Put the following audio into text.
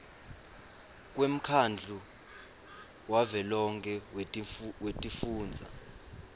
kwemkhandlu wavelonkhe wetifundza